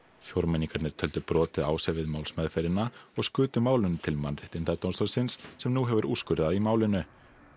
fjórmenningarnir töldu brotið á sér við málsmeðferðina og skutu málinu til Mannréttindadómstólsins sem nú hefur úrskurðað í málinu